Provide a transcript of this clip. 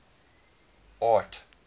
art